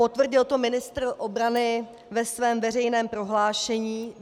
Potvrdil to ministr obrany ve svém veřejném prohlášení.